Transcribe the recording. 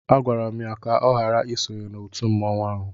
Agwara m ya ka ọ ghara isonye na otu mmanwụ ahụ